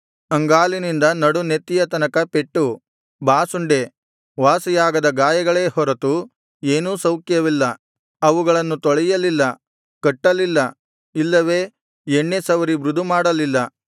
ಅಂಗಾಲಿನಿಂದ ನಡುನೆತ್ತಿಯ ತನಕ ಪೆಟ್ಟು ಬಾಸುಂಡೆ ವಾಸಿಯಾಗದ ಗಾಯಗಳೇ ಹೊರತು ಏನೂ ಸೌಖ್ಯವಿಲ್ಲ ಅವುಗಳನ್ನು ತೊಳೆಯಲಿಲ್ಲ ಕಟ್ಟಲಿಲ್ಲ ಇಲ್ಲವೆ ಎಣ್ಣೆ ಸವರಿ ಮೃದು ಮಾಡಲಿಲ್ಲ